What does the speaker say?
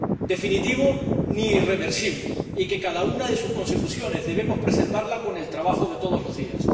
definitivo ni irreversible, y que cada una de sus consecuciones debemos preservarla con el trabajo de todos los días.